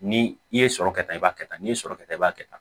Ni i ye sɔrɔ kɛ ta i b'a kɛ tan ni ye sɔrɔ kɛ ta i b'a kɛ tan